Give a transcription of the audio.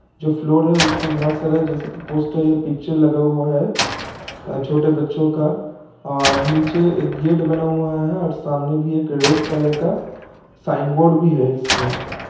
जो फ्लोर उसमें बहोत सारा पोस्टर या पिक्चर लगा हुआ है। छोटे बच्चों का अ नीचे एक गेट बना हुआ है और सामने भी एक रेड कलर का साइन बोर्ड भी है। इसपे--